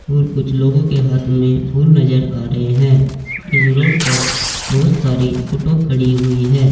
और कुछ लोगों के हाथ में फूल नजर आ रहे हैं इस रोड पर बहोत सारी ऑटो खड़ी हुई है।